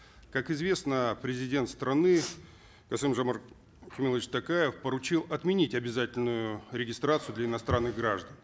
как известно президент страны касым жомарт кемелевич токаев поручил отменить обязательную регистрацию для иностранных граждан